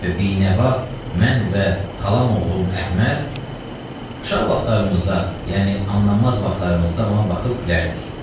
Və binəva mən və xalam oğlum Əhməd uşaq vaxtlarımızda, yəni anlamaz vaxtlarımızda ona baxıb gülərdik.